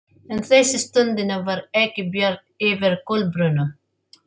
En þessa stundina var ekki bjart yfir Kolbrúnu.